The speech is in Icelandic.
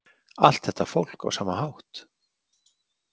Allt þetta fólk á sama hátt?